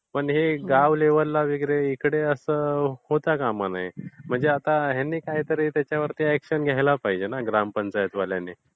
ते गाव लेवलला वगैरे इकडे असं होता कामा नये. म्हणजे आता ह्यांनी काहीतरी अॅक्शन घ्यायला पाहिजे ना ग्रामपंचायत वाल्यांनी.